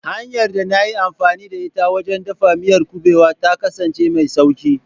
Hanyar da na yi amfani da ita wajen dafa miyar kuɓewa ta kasance mai sauƙi.